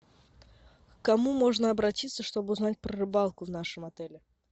к кому можно обратиться чтобы узнать про рыбалку в нашем отеле